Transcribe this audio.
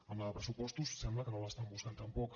en la de pressupostos sembla que no l’estan buscant tampoc